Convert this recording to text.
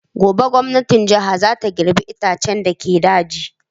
Gobe gwamnatin jiha za ta girbe itaccen da ke dauji.